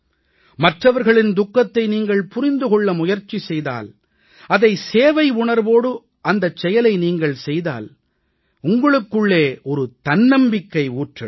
மற்றவர்களின் துக்கத்தை நீங்கள் புரிந்து கொள்ள முயற்சி செய்தால் அதை சேவை உணர்வோடு அந்தச் செயலைச் செய்தால் உங்களுக்குள்ளே ஒரு தன்னம்பிக்கை ஊற்றெடுக்கும்